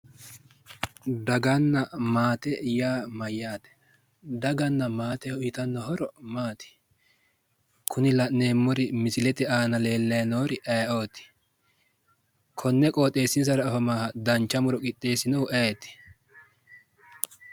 Daganna mate yaa mayyaate? daganna maate uuyitanno horo maati? kuri la'neemmori misilete aana leellayi noori aayeeooti? konne qooxeessinsara afamaaha dancha muro qixxeessinohu ayeeti?